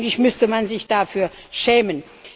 Eigentlich müsste man sich dafür schämen.